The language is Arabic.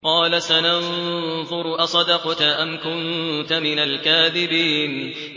۞ قَالَ سَنَنظُرُ أَصَدَقْتَ أَمْ كُنتَ مِنَ الْكَاذِبِينَ